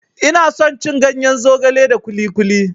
Ina son cin ganyen zogale da kuli kuli.